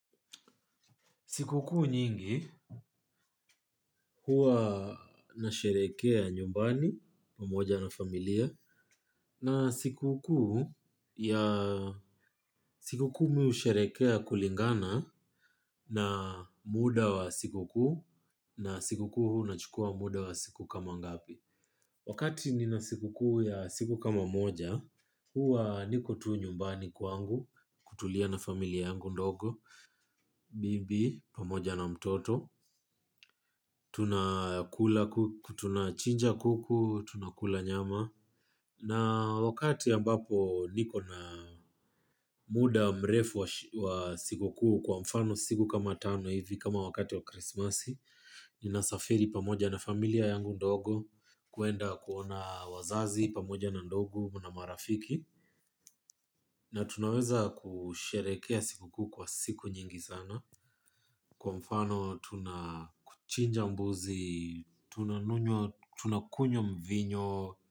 Sikukuu nyingi huwa nasherehekea nyumbani pamoja na familia na sikukuu ya sikukuu mimi husherehekea kulingana na muda wa sikukuu na sikukuu unachukua muda wa siku kama ngapi. Wakati nina sikukuu ya siku kama moja, huwa niko tu nyumbani kwangu, kutulia na familia yangu ndogo, bibi, pamoja na mtoto, tunachinja kuku, tunakula nyama. Na wakati ambapo niko na muda mrefu wa sikukuu kwa mfano siku kama tano hivi kama wakati wa krismasi. Ninasafiri pamoja na familia yangu ndogo kwenda kuona wazazi pamoja na ndugu na marafiki. Na tunaweza kusherehekea sikukuu kwa siku nyingi sana. Kwa mfano tunachinja mbuzi, tunakunywa mvinyo.